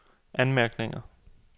anmærkninger